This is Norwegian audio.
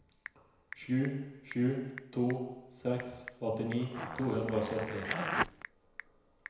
sju sju to seks åttini to hundre og sytti